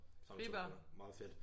Sammen med 2 gutter. Meget fedt